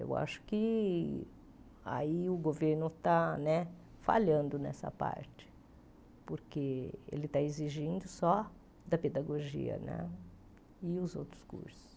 Eu acho que aí o governo está né falhando nessa parte, porque ele está exigindo só da pedagogia né e os outros cursos.